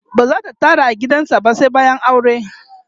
bazata tare a gidan sa ba sai bayan aure